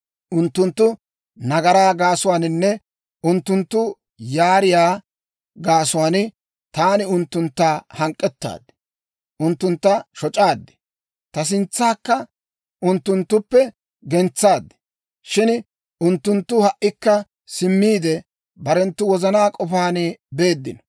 Unttunttu nagaraa gaasuwaaninne unttunttu yaariyaa gaasuwaan, taani unttuntta hank'k'ettaad. Unttuntta shoc'aad; ta sintsaakka unttunttuppe gentsaad. Shin unttunttu ha"ikka simmiide, barenttu wozanaa k'ofaan beeddino.